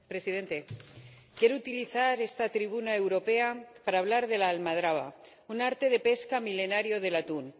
Señor Presidente, quiero utilizar esta tribuna europea para hablar de la almadraba un arte de pesca milenario del atún.